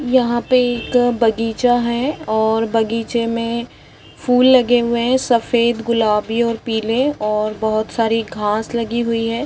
यहाँ पे एक बगीचा है और बगीचे है मे फूल लगे हुए है सफेद गुलाबी और पिले और बहोत सारी घास लगी हुई है।